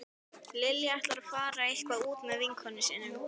Lilja ætlar að fara eitthvert út með vinkonum sínum